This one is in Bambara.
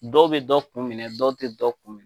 Dɔw bɛ dɔ kun minɛ dɔw tɛ dɔ kun